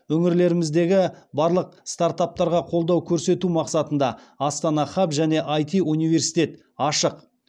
өңіріміздегі барлық стартаптарға қолдау көрсету мақсатында астана хаб және іт университет ашық